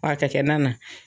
Wa ka kɛ nan na